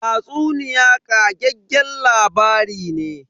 Tatsuniya ƙageggen labari ne.